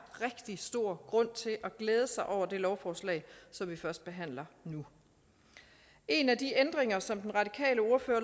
rigtig stor grund til at glæde sig over det lovforslag som vi førstebehandler nu en af de ændringer som den radikale ordfører